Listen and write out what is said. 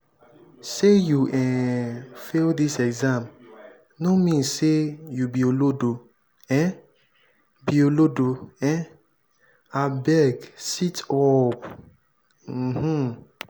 sey you um fail dis exam no mean sey you be olodo um be olodo um abeg sit-up. um